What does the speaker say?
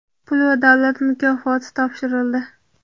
pul va davlat mukofoti topshirildi.